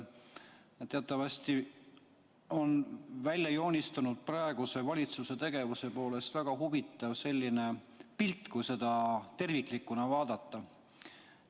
Teatavasti on välja joonistunud praeguse valitsuse tegevusest väga huvitav pilt, kui seda terviklikuna vaadata.